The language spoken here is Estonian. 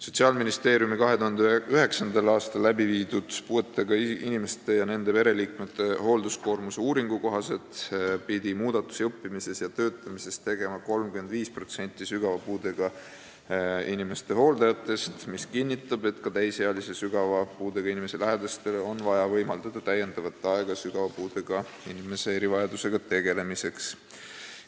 Sotsiaalministeeriumi 2009. aastal tehtud puuetega inimeste ja nende pereliikmete hoolduskoormuse uuringu kohaselt pidi muudatusi õppimises ja töötamises tegema 35% sügava puudega inimeste hooldajatest, mis kinnitab, et ka täisealise sügava puudega inimese lähedastele on vaja võimaldada lisaaega sügava puudega inimese erivajadusega tegelemiseks.